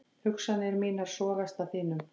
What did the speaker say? Hugsanir mínar sogast að þínum.